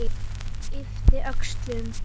Yppti öxlum.